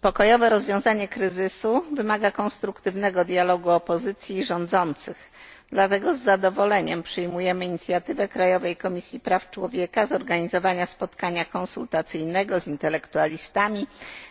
Pokojowe rozwiązanie kryzysu wymaga konstruktywnego dialogu opozycji i rządzących, dlatego z zadowoleniem przyjmujemy inicjatywę krajowej Komisji Praw Człowieka zorganizowania spotkania konsultacyjnego z intelektualistami,